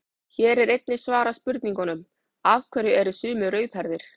Hér er einnig svarað spurningunum: Af hverju eru sumir rauðhærðir?